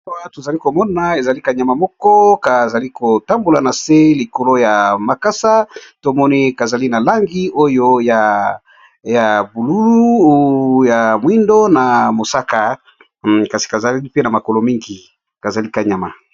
Awa tozali komona ezali kanyama moko kazali kotambola na se likolo ya makasa tomoni kazali na langi oyo ya bulu ya mwindo na mosaka kasi kazali mpe na makolo mingi kazali kanyama